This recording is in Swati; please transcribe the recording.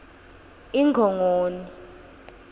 ingongoni